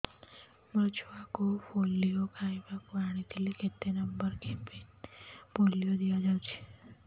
ମୋର ଛୁଆକୁ ପୋଲିଓ ଖୁଆଇବାକୁ ଆଣିଥିଲି କେତେ ନମ୍ବର କେବିନ ରେ ପୋଲିଓ ଦିଆଯାଉଛି